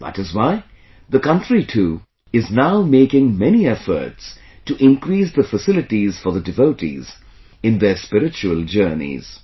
That is why the country, too, is now making many efforts to increase the facilities for the devotees in their spiritual journeys